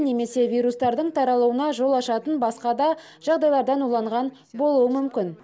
немесе вирустардың таралуына жол ашатын басқа да жағдайлардан уланған болуы мүмкін